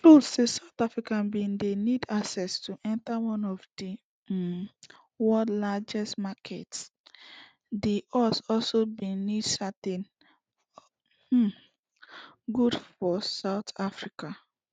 true say south africa bin dey need access to enta one of di um worlds largest marketsdi us also bin need certain um goods from south africa